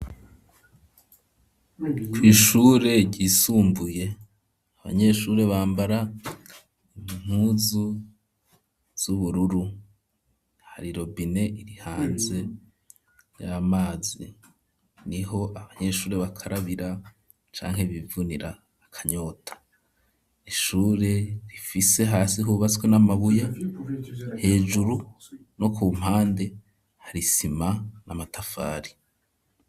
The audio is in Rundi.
Kw'ishure ryisumbuye abanyeshure bambara impuzu z'ubururu hari irobine irihanze y'amazi niho abanyeshure bakarabira canke bivunira akanyota ishure rifise hasi hubaswe n'amabuye hejuru no ku mpande hari isima n'amatafari.